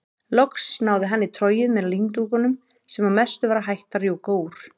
Loks náði hann í trogið með líndúkunum sem að mestu var hætt að rjúka úr.